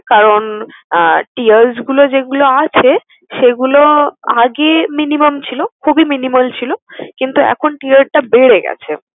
কারণ tears গুলো যেগুলো আছে, সেগুলো আগে minimum ছিল, খুবই minimal ছিল, কিন্তু এখন tear টা বেড়ে গেছে।